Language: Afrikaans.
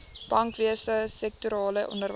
bankwese sektorale onderwys